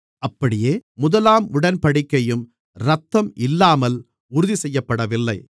அப்படியே முதலாம் உடன்படிக்கையும் இரத்தம் இல்லாமல் உறுதி செய்யப்படவில்லை